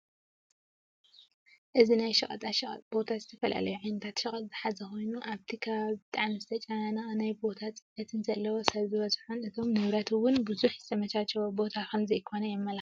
እዚ ናይ ሸቀጣሸቀጥ ቦታ ዝተፈላለዩ ዓይነታት ሸቀጥ ዝሓዘ ኮይኑ ኣብቲ ከባቢ ብጣዕሚ ዝተጨናነቀን ናይ ቦታ ፅበት ዘለዎን ሰብ ዝበዝሖን እቶም ንብረት እውን ብዙሕ ዝተመቻቸወ ቦታን ከም ዘይኮነ የመላክት፡፡